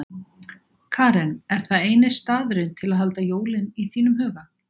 Karen: Er það eini staðurinn til að halda jólin í þínum huga?